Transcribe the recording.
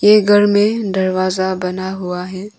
ये घर में दरवाजा बना हुआ है।